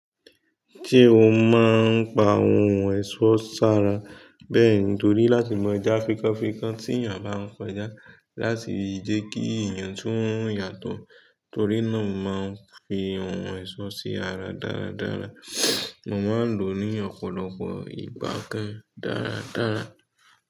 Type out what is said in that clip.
Ṣe o máa ń pa ohun ẹ̀ṣọ́ ṣára, bẹ́ẹ̀ ni torí láti mọ ẹja fikànfikàn tí èèyàn bá ń kọjá láti yí jẹ kí èèyàn tó ń yà tọ̀, torí náà máa ń fi ohun ẹ̀ṣọ́ sí ara dáradára. Mo máa ń lò ó ní ọ̀pọ̀lọpọ̀ ìgbà kan dáradára.